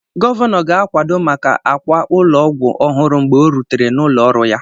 Gọvanọ ga-akwado maka akwa ụlọ ọgwụ ọhụrụ mgbe ọ rutere n'ụlọ ọrụ ya